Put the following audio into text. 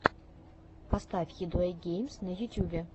поставь хидуэйгеймс на ютюбе